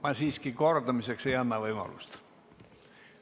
Ma siiski kordamiseks ei anna võimalust.